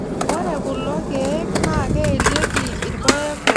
Ore kulo keek naa keelieki irpaek oriong' enye.